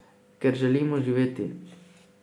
Ker želimo živeti.